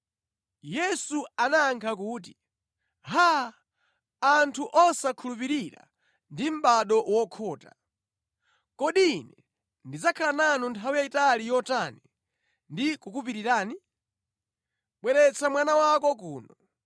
Yesu anayankha kuti, “Haa! Anthu osakhulupirira ndi mʼbado wokhota. Kodi Ine ndidzakhala nanu nthawi yayitali yotani ndi kukupirirani? Bweretsa mwana wako kuno.”